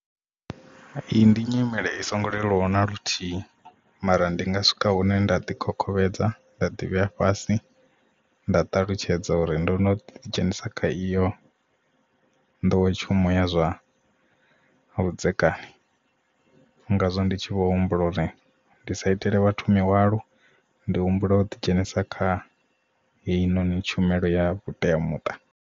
Iyi ndi nyimele i songo leluwa na luthihi mara ndi nga swika hune nda ḓi khokhomedza nda ḓivhea fhasi nda ṱalutshedza uri ndo no ḓi dzhenisa kha iyo nḓowetshumo ya zwa vhudzekani ngazwo ndi tshi vho humbula uri ndi sa itele vhathu mihwalo ndi humbula u ḓi dzhenisa kha heinoni tshumelo ya vhuteamuṱa.